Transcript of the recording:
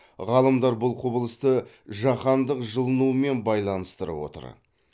ғалымдар бұл құбылысты жаһандық жылынумен байланыстырып отыр